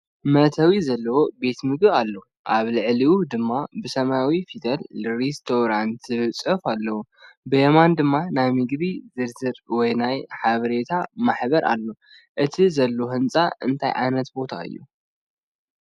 መእተዊ ዘለዎ ቤት መግቢ ኣሎ። ኣብ ልዕሊኡ ድማ ብሰማያዊ ፊደላት “RESTAURANT” ዝብል ጽሑፍ ኣሎ። ብየማን ድማ ናይ ምግቢ ዝርዝር ወይ ናይ ሓበሬታ ማህደር ኣሎ። እቲ ዘሎ ህንጻ እንታይ ዓይነት ቦታ እዩ?